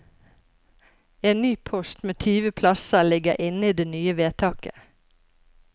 En ny post med tyve plasser ligger inne i det nye vedtaket.